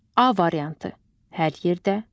A variantı: hər yerdə.